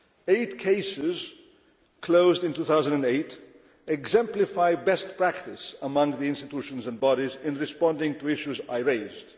Eight cases closed in 2008 exemplify best practice among the institutions and bodies in responding to issues I raised.